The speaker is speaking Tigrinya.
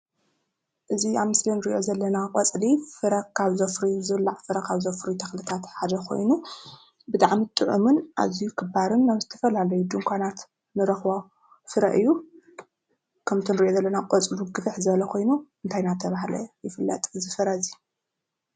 እዚ ኣብ ምስሊ ንሪኦ ዘለና ቆፅሊ ፍረ ካብ ዘፍርዩ ዝብላዕ ፍረ ካብ ዘፍርዩ ተኽልታት ሓደ ኮይኑ ብጣዕሚ ጥዑምን ኣዝዩ ክባርን ኣብ ዝተፈላለዩ ድንኳናት ንረክቦ ፍረ እዩ ።ከምቲ ንሪኦ ዘለና ቆፅሉ ግፍሕ ዝበለ ኾይኑ እንታይ እንዳተበሃለ ይፍለጥ እዚ ፍረ እዚ?